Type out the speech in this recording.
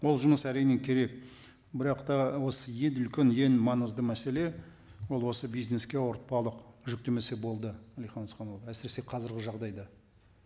ол жұмыс әрине керек бірақ та осы ең үлкен ең маңызды мәселе ол осы бизнеске ауыртпалық жүктемесе болды әлихан асханұлы әсіресе қазіргі жағдайда